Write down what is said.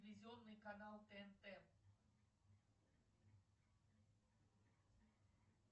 телевизионный канал тнт